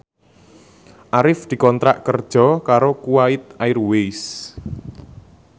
Arif dikontrak kerja karo Kuwait Airways